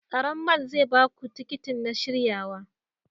Tsaron mall zai ba ku tikitin na shiryawa.